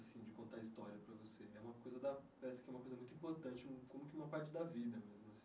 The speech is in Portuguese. de contar história para você né é uma coisa da Parece que é uma coisa muito importante, como uma parte da vida mesmo assim.